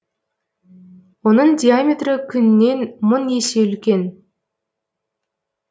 оның диаметрі күннен мың есе үлкен